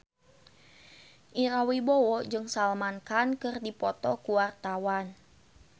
Ira Wibowo jeung Salman Khan keur dipoto ku wartawan